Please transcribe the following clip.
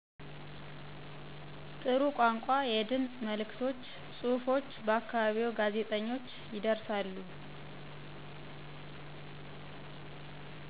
ጥሩ ቋንቋ, የድምፅ መልዕክቶች, ጽሑፎች በ አካባቢዎ ጋዜጠኞች ይደርሳሉ።